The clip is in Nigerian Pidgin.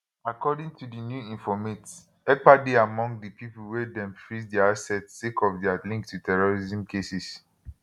according to di new informate ekpa dey among di pipo wey dem freeze dia assest sake of dia link to terrorism cases